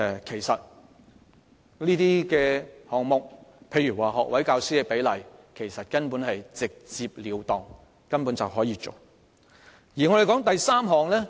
其實這些項目如學位教師的比例根本直截了當，隨時可以實行。